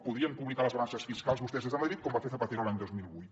podrien publicar les balances fiscals vostès des de madrid com va fer zapatero l’any dos mil vuit